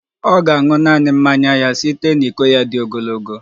Ọ ga-aṅụ naanị mmanya ya site na iko dị ogologo